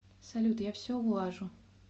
салют я все улажу